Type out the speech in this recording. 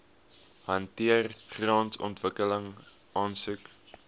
hanteer grondontwikkeling aansoeke